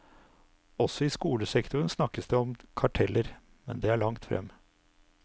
Også i skolesektoren snakkes det om karteller, men det er langt frem.